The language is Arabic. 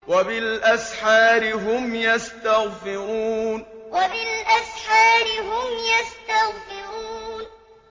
وَبِالْأَسْحَارِ هُمْ يَسْتَغْفِرُونَ وَبِالْأَسْحَارِ هُمْ يَسْتَغْفِرُونَ